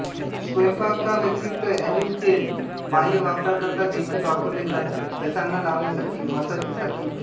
स्वयंपाकाव्यतिरिक्त olive तेल बाह्यवापराकरिता देखील वापरले जाते केसांना लावण्यासाठी मसाज साठी इत्यादी